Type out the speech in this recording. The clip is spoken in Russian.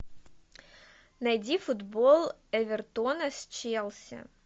найди футбол эвертона с челси